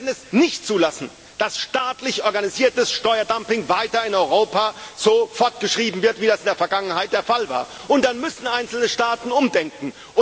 Wir werden es nicht zulassen, dass staatlich organisiertes Steuerdumping weiter in Europa so fortgeschrieben wird, wie das in der Vergangenheit der Fall war, und dann müssen einzelne Staaten umdenken.